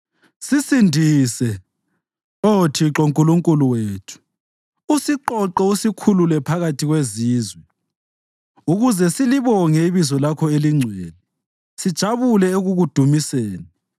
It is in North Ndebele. Sisindise, Oh Thixo Nkulunkulu wethu, usiqoqe usikhulule phakathi kwezizwe, ukuze silibonge ibizo lakho elingcwele sijabule ekukudumiseni.